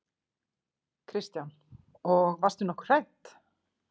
Kristján: Og varstu nokkuð hrædd?